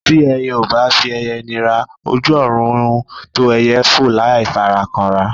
Tí ẹyẹ ò bá fi ẹyẹ nira, ojú ọ̀run tó ẹyẹ fò láì fara kanra.